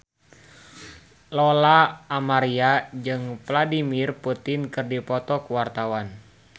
Lola Amaria jeung Vladimir Putin keur dipoto ku wartawan